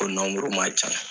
Ko man ca.